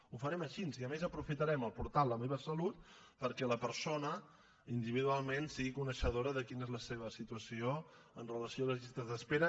ho farem així i a més aprofitarem el portal la meva salut perquè la persona individualment sigui coneixedora de quina és la seva situació amb relació a les llistes d’espera